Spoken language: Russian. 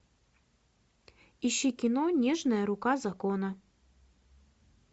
ищи кино нежная рука закона